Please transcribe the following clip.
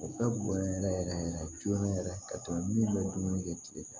O bɛɛ bɔlen yɛrɛ yɛrɛ yɛrɛ joona yɛrɛ ka tɛmɛ min bɛ dumuni kɛ tigɛ kan